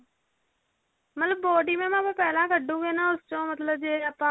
ਮਤਲਬ body mam ਆਪਾਂ ਪਹਿਲਾਂ ਕੱਢਾਗੇ ਉਸ ਚੋਂ ਮਤਲਬ ਜੇ ਆਪਾਂ